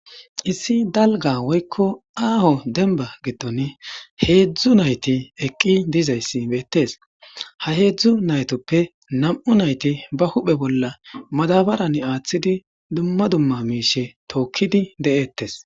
Issi dalga woykko aaho denba gitton heedzdzu nayti eqqi dizayssi beettes ha heedzdzu naytoppe nam'u nayti ba huphe bolla madabaran aaththidi dumma dumma miishe tookkidi de'eettes.